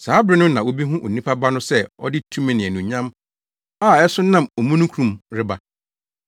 Saa bere no na wobehu Onipa Ba no sɛ ɔde tumi ne anuonyam a ɛso nam omununkum mu reba.